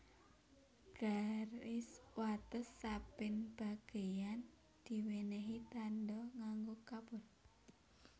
Garis wates saben bageyan diwènèhi tandha nganggo kapur